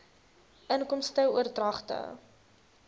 inkomste oordragte